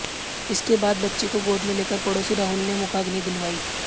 इसके बाद बच्ची को गोद में लेकर पड़ोसी राहुल ने मुखाग्नि दिलवाई